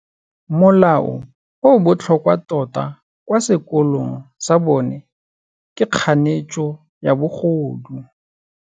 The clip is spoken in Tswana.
Molao o o botlhokwa tota kwa sekolong sa bone ke kganetsô ya bogodu.